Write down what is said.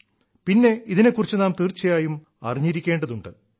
പിന്നെ ഇതിനെ കുറിച്ച് നാം തീർച്ചയായും അറിഞ്ഞിരിക്കേണ്ടതുണ്ട്